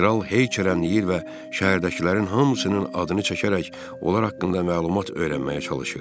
Kral heykərənləyir və şəhərdəkilərin hamısının adını çəkərək, onlar haqqında məlumat öyrənməyə çalışır.